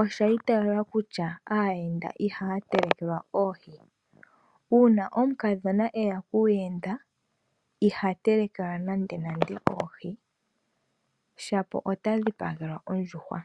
osha itaalwa kutya aayenda ihaya telekelwa oohi. Uuna omukadhona eya kuuyenda iha telekelwa oohi ashike oha dhipagelwa ondjuhwa.